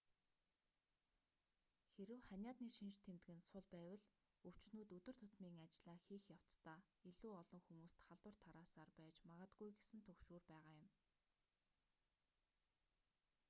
хэрэв ханиадны шинж тэмдэг нь сул байвал өвчтөнүүд өдөр тутмын ажлаа хийх явцдаа илүү олон хүмүүст халдвар тараасаар байж магадгүй гэсэн түгшүүр байгаа юм